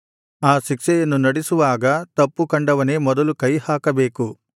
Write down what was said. ಆ ಶಿಕ್ಷೆಯನ್ನು ನಡಿಸುವಾಗ ತಪ್ಪು ಕಂಡವನೇ ಮೊದಲು ಕೈಹಾಕಬೇಕು